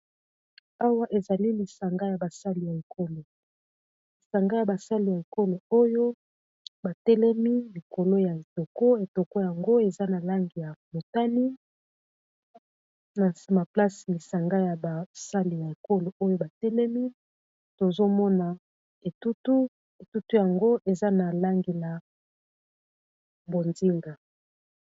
Awa ezali lisanga ya basali ya ekolo lisanga ya basali ya ekolo oyo ba telemi likolo ya toko etoko yango eza na langi ya motani, na nsima place lisanga ya basali ya ekolo oyo batelemi tozomona etutu yango eza na langi ya bonzinga